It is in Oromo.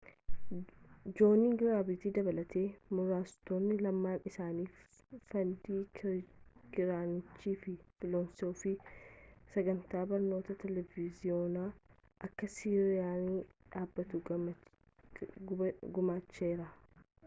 joon giraantiin dabalatee muraasotaan lamaan isaaanii fandiing kiraanchii fi filoosoofiin sagantaa barnootaa televiiziyoonaa akka siiriyesiin dhaabbatu gumaacheera